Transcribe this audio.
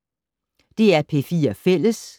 DR P4 Fælles